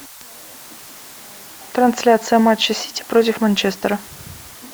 трансляция матча сити против манчестера